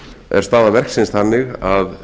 er staða verksins þannig að